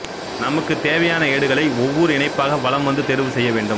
நமக்கு தேவையான ஏடுகளை ஒவ்வொரு இணைப்பாக வலம் வந்து தேர்வு செய்யவேண்டும்